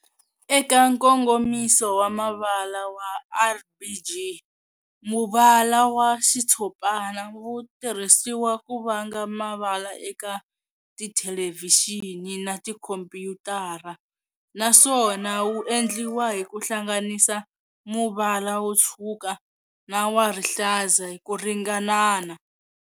Eka nkongomiso wa mavala wa RBG, muvala wa xitshopana wu tirhisiwa ku vanga mavala eka tithelevixini na tikhompuyutara, naswona wu endliwa hi ku hlanganisa muvala wo tshwuka na wa rihlaza hi ku ringanana.